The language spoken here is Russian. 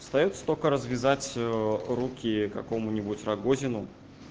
остаётся только развязать руки какому-нибудь рогозину